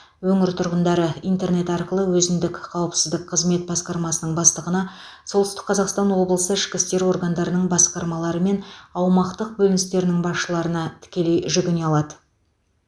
өңір тұрғындары интернет арқылы өзіндік қауіпсіздік қызмет басқармасының бастығына солтүстік қазақстан облысы ішкі істер органдарының басқармалары мен аумақтық бөліністерінің басшыларына тікелей жүгіне алады